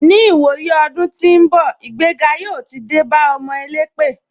Ni ìwòyí ọdún tí ń bọ̀, ìgbéga yóò ti dé bá ọmọ elépè.